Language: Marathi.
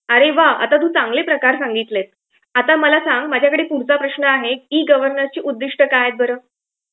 अरे वा. आता तू चांगले प्रकार संगितले. आता मला सांग, माझ्याकडे पुढचा प्रश्न आहे की ई गव्हर्नन्सची उद्दिष्टे काय आहेत बरं.